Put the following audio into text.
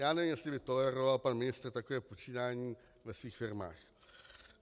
Já nevím, jestli by toleroval pan ministr takové počínání ve svých firmách.